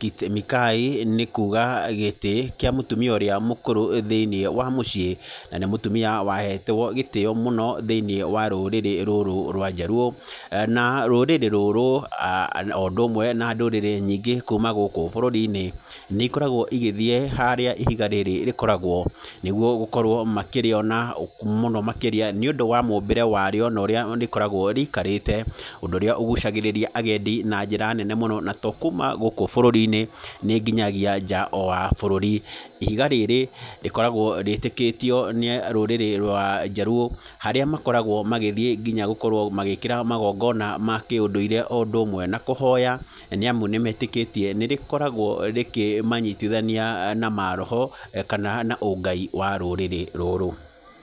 Kit Mikayi nĩ kuga gĩtĩ kĩa mũtumia ũrĩa mũkũrũ thĩiniĩ wa mũciĩ, na nĩ mũtumia wahetwo gĩtĩo mũno thĩiniĩ wa rũrĩrĩ rũrũ rwa jaluo, na rũrĩrĩ rũrũ o ũndũ ũmwe na ndũrĩrĩ nyingĩ kuuma gũkũ bũrũri-inĩ nĩ ikoragwo igĩthiĩ harĩa ihiga rĩrĩ rĩkoragwo nĩguo gũkorwo makĩrĩona mũno makĩria nĩ ũndũ wa rĩumbĩre warĩo na ũrĩa rĩkoragwo rĩikarĩte, ũndũ ũrĩa ũgucagĩrĩria agendi na njĩra nene mũno na tokuuma gũkũ bũrũri-inĩ, nĩ nginyagia nja wa bũrũri. Ihiga rĩrĩ rĩkoragwo rĩtĩkĩtio nĩ rũrĩrĩ rwa jaluo harĩa makoragwo magĩthiĩ nginya gũkorwo magĩkĩra magongona ma kĩũndũire, o ũndũ ũmwe na kũhoya, nĩ amu nĩ metĩkĩtie nĩ rĩkoragwo rĩkĩmanyitithania na maroho, kana na ũngai wa rũrĩrĩ rũrũ.